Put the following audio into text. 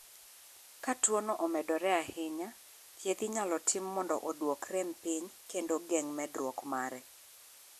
K tuo no omedore ahinya, thieth inyalo tim mondo oduok rem pim kendo geng'o medruok mare.